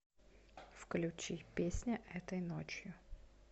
включи песня этой ночью